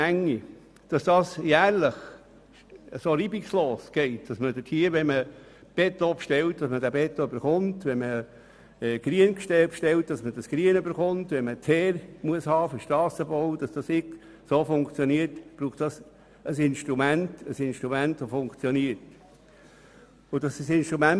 Damit das jedes Jahr so reibungslos vor sich geht und man Beton, Kies oder Teer für den Strassenbau erhält, wenn man solchen bestellt, braucht es ein funktionierendes Instrument.